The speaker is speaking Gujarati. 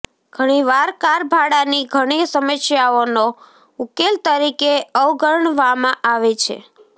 ઘણીવાર કાર ભાડાની ઘણી સમસ્યાઓનો ઉકેલ તરીકે અવગણવામાં આવે છે